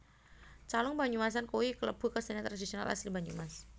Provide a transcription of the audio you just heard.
Calung Banyumasan kuwe kelebu kesenian tradisionil asli Banyumas